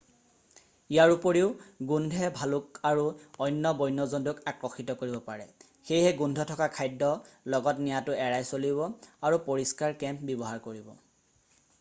ইয়াৰ উপৰিও গোন্ধে ভালুক আৰু অন্য বন্য জন্তুক আকৰ্ষিত কৰিব পাৰে সেয়ে গোন্ধ থকা খাদ্য লগত নিয়াটো এৰাই চলিব আৰু পৰিস্কাৰ কেম্প ব্যৱহাৰ কৰিব